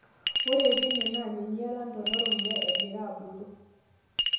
Ore teina naa meinyiala ntona ormuya egira abulu.